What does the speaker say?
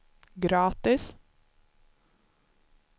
gratis